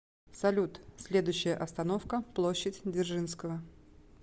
салют следующая остановка площадь дзержинского